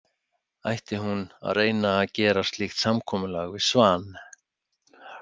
Ætti hún að reyna að gera slíkt samkomulag við Svan?